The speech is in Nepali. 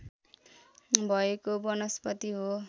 भएको वनस्पति हो